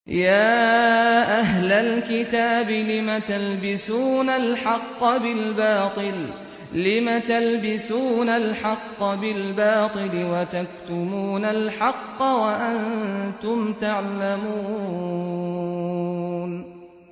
يَا أَهْلَ الْكِتَابِ لِمَ تَلْبِسُونَ الْحَقَّ بِالْبَاطِلِ وَتَكْتُمُونَ الْحَقَّ وَأَنتُمْ تَعْلَمُونَ